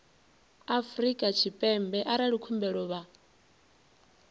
afrika tshipembe arali khumbelo vha